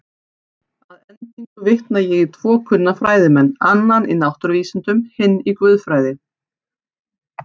Að endingu vitnaði ég í tvo kunna fræðimenn, annan í náttúruvísindum, hinn í guðfræði.